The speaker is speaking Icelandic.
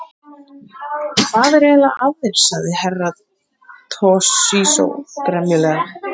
Hvað er eiginlega að þér, sagði Herra Toshizo gremjulega.